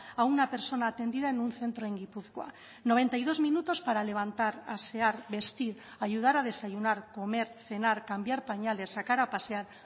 a una persona atendida en un centro en gipuzkoa noventa y dos minutos para levantar asear vestir ayudar a desayunar comer cenar cambiar pañales sacar a pasear